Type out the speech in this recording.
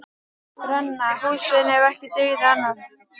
Brenna húsin ef ekki dygði annað.